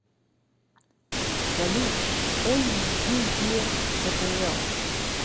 салют ойюе фбл